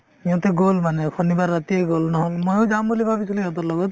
সিহঁতে গ'ল মানে শনিবাৰ ৰাতিয়ে গ'ল নহ'লে ময়ো যাম বুলি ভাবিছিলো সিহঁতৰ লগত